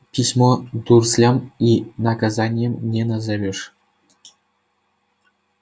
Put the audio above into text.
письмо дурслям и наказанием не назовёшь